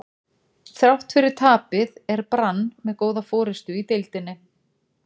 Þrátt fyrir tapið er Brann með góða forystu í deildinni.